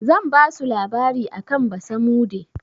Zan basu labari akan basamude.